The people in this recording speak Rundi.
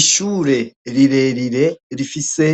Ishure rirerire rifise